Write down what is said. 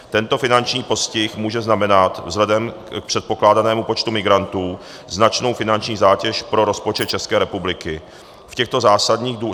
Tento finanční postih může znamenat vzhledem k předpokládanému počtu migrantů značnou finanční zátěž pro rozpočet České republiky.